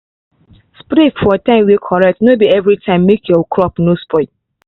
spray for time way correct no be everytime make your crop no spoil.